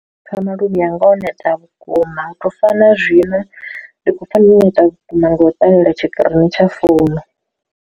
Pfha maluvhi anga o neta vhukuma uto fana zwino ndi khou pfa ndo neta vhukuma ndi u ṱalela tshikirini tsha founu.